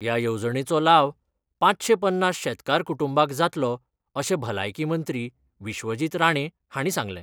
ह्या येवजणेचो लाव पांचशे पन्नास शेतकार कुटुंबाक जातलो अशें भलायकी मंत्री विश्वजीत राणे हांणी सांगलें.